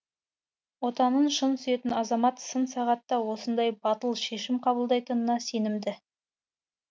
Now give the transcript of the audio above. отанын шын сүйетін азамат сын сағатта осындай батыл шешім қабылдайтынына сенімді